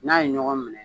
N'a ye ɲɔgɔn minɛ